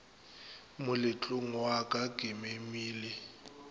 moletlong wa ka ke memile